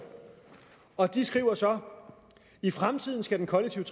og de skriver så i fremtiden skal den kollektive